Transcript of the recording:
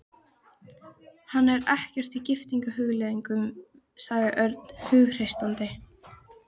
Hann er ekkert í giftingarhugleiðingum, sagði Örn hughreystandi.